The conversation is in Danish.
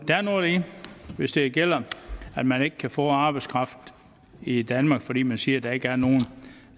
er noget i det hvis det gælder at man ikke kan få arbejdskraft i danmark fordi man siger at der ikke er nogen